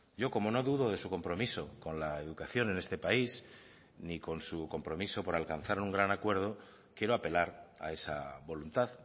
yo como no dudo de su compromiso con la educación en este país ni con su compromiso por alcanzar un gran acuerdo quiero apelar a esa voluntad